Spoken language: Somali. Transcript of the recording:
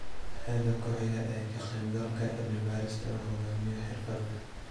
Heerka ku xiga ee ka qaybgalka: cilmi-baadhista uu hogaamiyo xirfadle